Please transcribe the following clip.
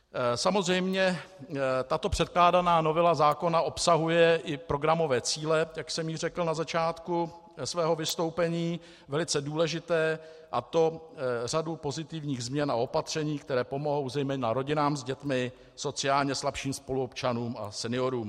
Samozřejmě, tato předkládaná novela zákona obsahuje i programové cíle, jak jsem již řekl na začátku svého vystoupení, velice důležité, a to řadu pozitivních změn a opatření, které pomohou zejména rodinám s dětmi, sociálně slabším spoluobčanům a seniorům.